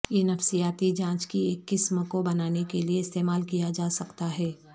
یہ نفسیاتی جانچ کی ایک قسم کو بنانے کے لئے استعمال کیا جا سکتا ہے